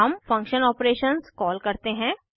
हम function operations call करते हैं